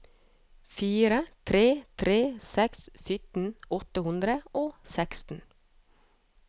fire tre tre seks sytten åtte hundre og seksten